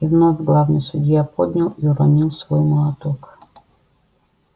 и вновь главный судья поднял и уронил свой молоток